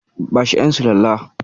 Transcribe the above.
Bashi ƴan sulalla.